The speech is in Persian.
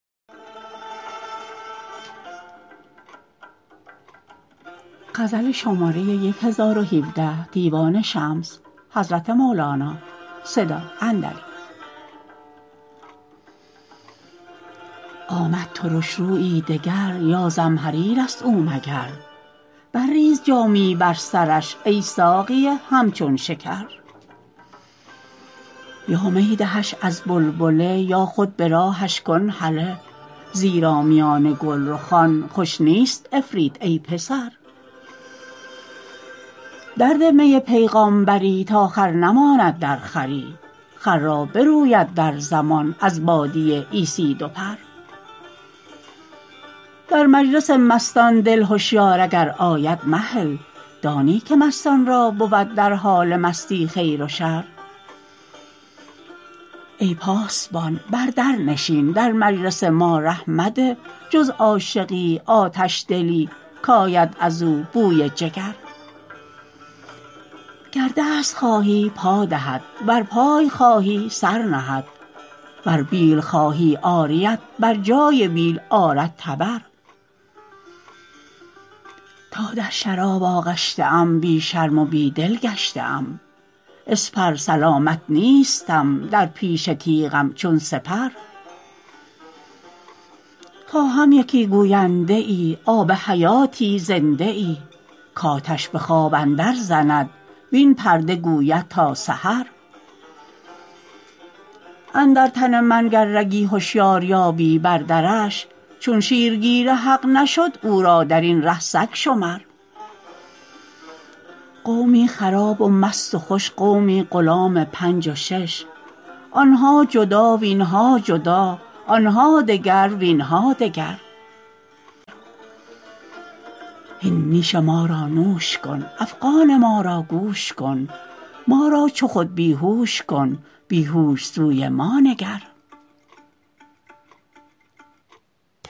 آمد ترش رویی دگر یا زمهریر است او مگر برریز جامی بر سرش ای ساقی همچون شکر یا می دهش از بلبله یا خود به راهش کن هله زیرا میان گلرخان خوش نیست عفریت ای پسر درده می پیغامبری تا خر نماند در خری خر را بروید در زمان از باده عیسی دو پر در مجلس مستان دل هشیار اگر آید مهل دانی که مستان را بود در حال مستی خیر و شر ای پاسبان بر در نشین در مجلس ما ره مده جز عاشقی آتش دلی کآید از او بوی جگر گر دست خواهی پا دهد ور پای خواهی سر نهد ور بیل خواهی عاریت بر جای بیل آرد تبر تا در شراب آغشته ام بی شرم و بی دل گشته ام اسپر سلامت نیستم در پیش تیغم چون سپر خواهم یکی گوینده ای آب حیاتی زنده ای کآتش به خواب اندرزند وین پرده گوید تا سحر اندر تن من گر رگی هشیار یابی بردرش چون شیرگیر حق نشد او را در این ره سگ شمر قومی خراب و مست و خوش قومی غلام پنج و شش آن ها جدا وین ها جدا آن ها دگر وین ها دگر ز اندازه بیرون خورده ام کاندازه را گم کرده ام شدوا یدی شدوا فمی هذا حفاظ ذی السکر هین نیش ما را نوش کن افغان ما را گوش کن ما را چو خود بی هوش کن بی هوش سوی ما نگر